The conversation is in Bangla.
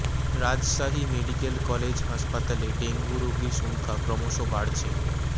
রাজশাহী মেডিকেল কলেজ হাসপাতালে ডেঙ্গু রোগীর সংখ্যা ক্রমশ বাড়ছে